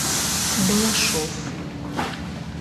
балашов